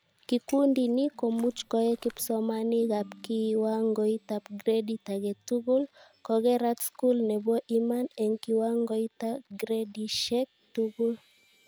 Kikundi ni komuch koe kipsomaninkab kiwangoitab gradit aketugul, kokerat skul nebo ima eng kiwangoita gradishek tugul